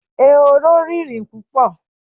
Ehoro rìnrìn púpò